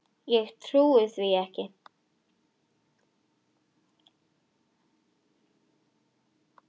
Ég trúi því ekki!